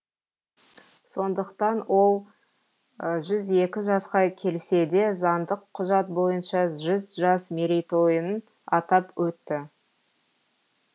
сондықтан ол жүз екі жасқа келсе де заңдық құжат бойынша жүз жас мерейтойын атап өтті